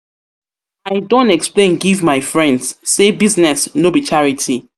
don explain give my friends sey business no be charity.